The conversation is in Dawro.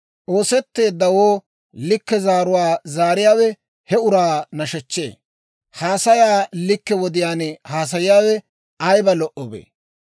Ooshetteeddawoo likke zaaruwaa zaariyaawe he uraa nashechchee; haasayaa likke wodiyaan haasayiyaawe ayiba lo"obee!